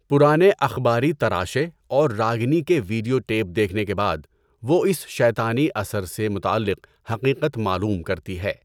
پرانے اخباری تراشے اور راگنی کے ویڈیو ٹیپ دیکھنے کے بعد، وہ اس شیطانی اثر سے متعلق حقیقت معلوم کرتی ہے۔